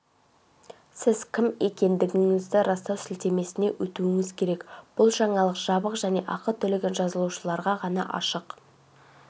сіз кім екендігіңізді растау сілтемесіне өтуіңіз керек бұл жаңалық жабық және ақы төлеген жазылушыларға ғана ашық